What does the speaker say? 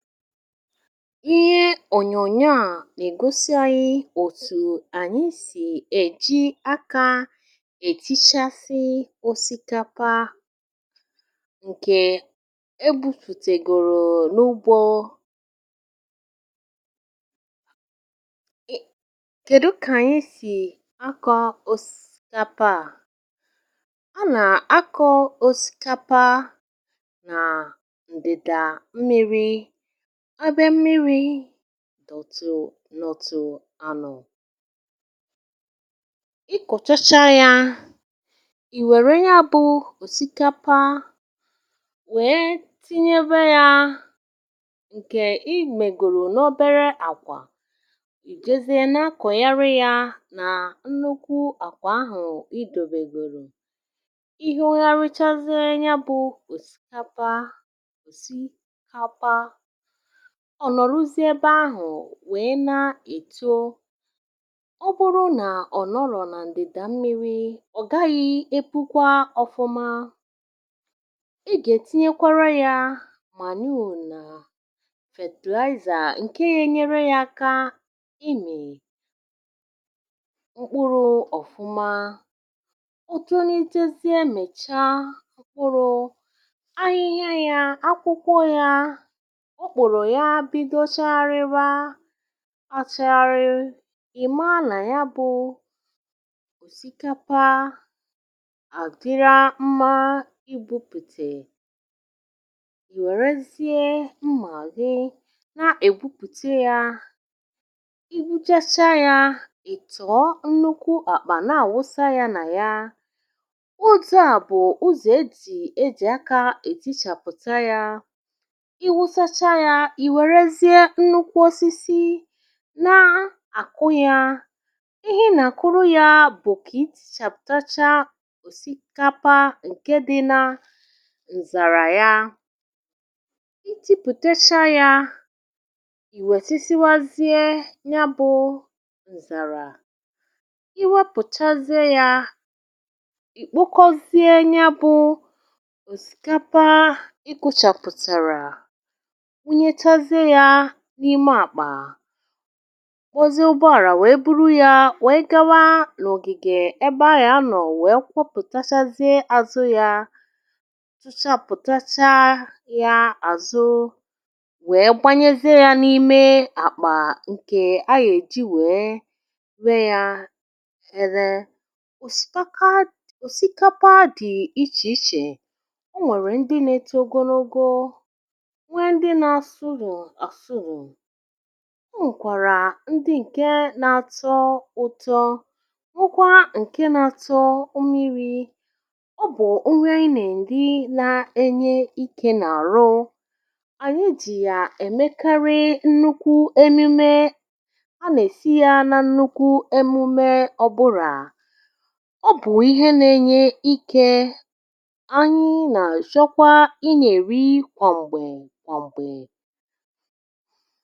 ihe ònyònyo à nègosi anyị òtù ànyị sì èji akȧ ètichasì osikapa ǹkè ebu̇pùtègòrò n’ugbȯ kèdụ kà ànyị sì akọ̇ osikapa a, a nà-akọ̇ osikapa nà ǹdị̀dà mmi̇ri ebe mmiri̇ dọ̀tụ̀ nọ̀tụ ànọ̀, ị kọ̀chacha yȧ ì wère ya bụ̀ òsikapa wèe tinyebe yȧ ǹkè i mègòrò n’obere àkwà ì jezie na-akọ̀ ya ri ya nà nnukwu àkwà ahụ̀ idȯbègòrò, ihu̇ya richazie ya bụ̇ òsikapa òsi kapa ọ̀ nọ̀rọ̀zi ebe ahụ̀ wèe na-èto, ọ bụrụ nà ọ nọọlọ̀ nà ǹdị̀dà mmiri̇ ọ gaghị epukwa ọfụma ị gà-ètinyekwara yȧ manure nà fertilizer ǹke ya enyere yȧ aka imì mkpụrụ̇ ọ̀fụma otu nitezie mècha mkpụrụ ahịhịa yȧ, akwụkwọ yȧ, okpuru ya bido chàgharịwa achagharị ị̀ maa nà ya bụ̀ osikapa àdịra mmȧ igbupùtè yòrù ezì mmà gị na-ègbupùte yȧ igbuchasia yȧ ị̀ tọọ nnukwu àkpà na-àwụsa yȧ nà ya o tu à bụ̀ ụzọ̀ edì ejì aka edì chàpụ̀ta yȧ ì wuchasịa ya ì wèrezie nnukwu ọsịsị na-àkụ ya, ihe nà àkụrụ ya bụ̀ kà i tichàpụtacha òsikapa ǹke di na ǹzàrà ya i jipùtecha ya ì wètisiwazie ya bụ̇ ǹzàrà i wepụ̀chazie ya ì kpokọzie ya bụ òsikapa ịgụ̇chàpụ̀tàrà wuyechazịe ya n’ime àkpà kpozi ụbọàlà wee buru ya wee gawa n’ògìgè ebe aya anọ̀ wee kwopùtachazị àzụ ya tuchapụ̀tachaa ya àzụ wee gbanyezie ya n’ime àkpà ǹkè aya èji wee wee ya eee. òsikapa òsikapa dị ichè ichè o nwèrè ndị nȧ-ėto ogologo, nwee ndị na nsụo asụno, ọ nwèkwàrà ndị ǹke na-atọ ụ̀tọ, hụkwa ǹke na-atọ mmiri̇, ọ bụ̀ onwe i na eri na-enye ikė n’àrụ ànyị jì yà èmekarị nnukwu emume ha nà-èsi ya na nnukwu emume ọ́bụ̀rà. ọ bụ̀ ihe na-enye ikė anyị̇ nà-àjọkwa ị nà-èri kwàm̀gbè kwàmgbè.